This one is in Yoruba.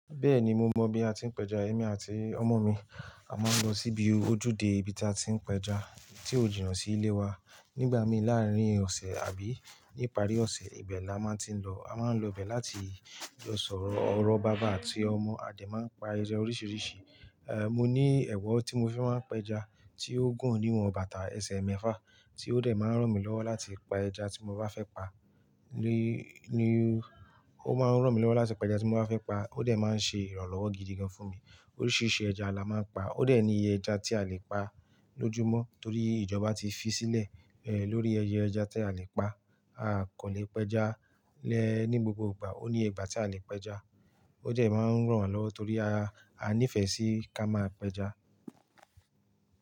Bẹ́ẹ̀ni mo mọ̀ bí a ti ń pẹja. Èmi àti ọmọ mi a máa ń lọ síbi ojúde ibi tí a ti ń pẹja tí ó jìnà sí ilé wa. Nígbà mi láàárín ọ̀sẹ̀ àbí ní ìparí ọ̀sẹ̀, ibẹ̀ la máa ti ń lọ. A máa ń lọ ibẹ̀ láti jọ sọ̀rọ̀. Ọ̀rọ̀ bàbá àti ọmọ, a dẹ̀ máa ń pa eré oríṣiríṣi. È, mo ní ẹ̀wọ̀ tí mo fẹ́ máa ń pẹja tí ó gùn níwọ̀n bàtà ẹsẹ̀ mẹ́fà tí ó dẹ̀ máa ń ràn mí lọ́wọ́ láti pa ẹja tí mo bá fẹ́ pa. Ni, ni, ó máa ń ràn mí lọ́wọ́ láti pa ẹja tí mo bá fẹ́ pa, ó dẹ̀ máa ń ṣe ìrànlọ́wọ́ gidi gan fún mi. Oríṣiríṣi ẹja la máa ń pa. Ó dẹ̀ ní iye ẹja tí a lè pa lójúmọ́ torí ìjọba ti fi sílẹ̀, ẹ, lórí ẹyẹ ẹja tí a lè pa. A kò lè pẹja lẹ́ ní gbogbo ìgbà, ó ní ìgbà tí a lè pẹja. Ó jẹ́ ẹ máa ń ràn án lọ́wọ́ torí a, a nífẹ̀ẹ́ sí ká máa pẹja.